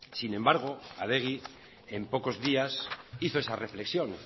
sin embargo adegi en pocos días hizo esa reflexión